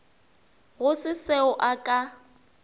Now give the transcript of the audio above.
go se seo a ka